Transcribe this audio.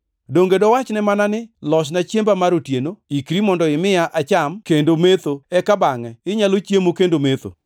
Donge dowachne mana ni, ‘Losna chiemba mar otieno, ikri mondo imiya acham kendo metho, eka bangʼe inyalo chiemo kendo metho’?